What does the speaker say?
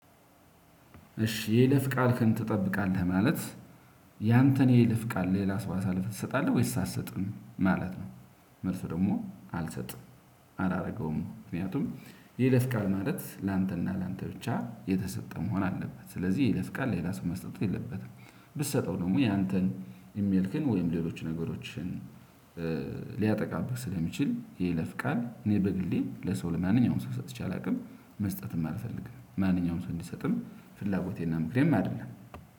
እሺ የይለፍ ቃል ትጠብቃለህ? ማለት ያንተን የይለፍ ቃል ሌላ አሳለፈህ ትሰጣለህ ወይስ አትሰጥም ማለት ነው። መልሱ ደግሞ አልሰጥም አላደርገውም ምክንያቱም የይለፍ ቃል ማለት ላንተና ላንተ ብቻ የተሰጠ መሆን አለበት። ስለዚህ የይለፍ ቃል ሌላ ሰው መስጠት የለበትም። ብትሰጠው ደግሞ ያንተን ኢሜልን ወይም ሌሎች ነገሮችን ሊያጠቃብህ ስለሚችል የይለፍ ቃል እኔ በግሌ ለሰው ለማንኛውም ሰው ሰጥቼ አላውቅም። መስጠትም አልፈልግም ማንኛውም ሰው እንዲሰጥም ፍላጎቴና ምክንያትም አይደለም።